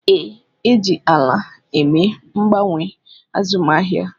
Ee, e ji ala eme mgbanwe azụmahịa